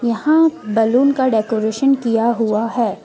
यहां बैलून का डेकोरेशन किया हुआ है।